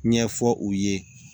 Ɲɛfɔ u ye